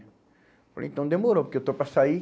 Falei, então demorou, porque eu estou para sair.